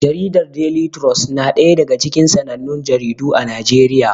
Jaridar Deli trus na ɗaya daga cikin sanannun jaridu a Najeriya.